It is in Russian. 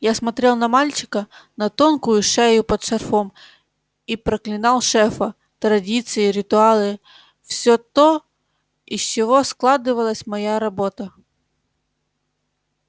я смотрел на мальчика на тонкую шею под шарфом и проклинал шефа традиции ритуалы все то из чего складывалась моя работа